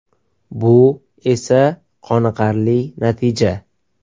Bu esa qoniqarli natija.